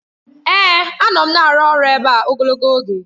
Èè! Anọ m na-arụ ọrụ ebe a ogologo oge.